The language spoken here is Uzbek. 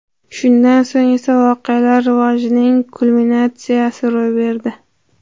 Shundan so‘ng esa voqealar rivojining kulminatsiyasi ro‘y berdi.